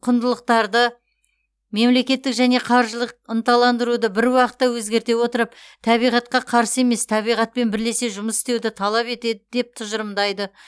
құндылықтарды мемлекеттік және қаржылық ынталандыруды бір уақытта өзгерте отырып табиғатқа қарсы емес табиғатпен бірлесе жұмыс істеуді талап етеді деп тұжырымдайды